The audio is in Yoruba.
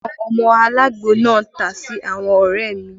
Àwọn ọmọ alagbo náà ta sí àwọn ọrẹ mi